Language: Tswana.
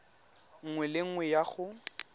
nngwe le nngwe ya go